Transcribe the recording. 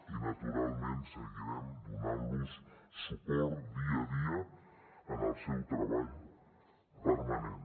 i naturalment seguirem donant los suport dia a dia en el seu treball permanent